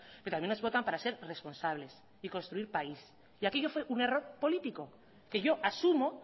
pero también nos votan para ser responsables y construir país y aquello fue un error político que yo asumo